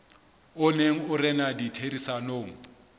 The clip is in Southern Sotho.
o neng o rena ditherisanong